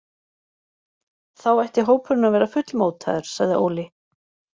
Þá ætti hópurinn að vera full mótaður, sagði Óli.